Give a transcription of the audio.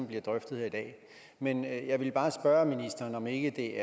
bliver drøftet her i dag men jeg ville bare spørge ministeren om ikke